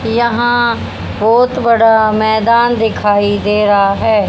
यहां बहुत बड़ा मैदान दिखाई दे रहा है।